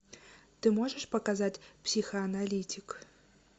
ты можешь показать психоаналитик